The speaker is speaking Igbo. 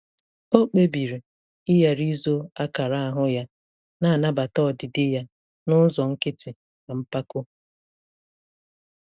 O kpebiri ịghara izo akara ahụ ya, na-anabata ọdịdị ya n'ụzọ nkịtị na mpako.